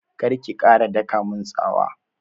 Kar ki ƙara daƙa mun tsawa!